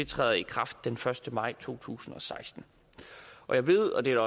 træder i kraft den første maj to tusind og seksten jeg ved og det er